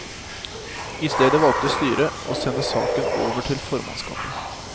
Istedet valgte styret å sende saken over til formannskapet.